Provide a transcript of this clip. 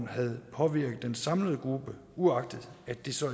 have påvirket den samlede gruppe uagtet at det så